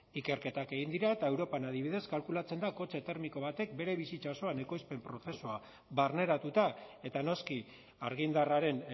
ikerketak egin dira eta europan adibidez kalkulatzen da kotxe termiko batek bere bizitza osoan ekoizpen prozesua barneratuta eta noski argindarraren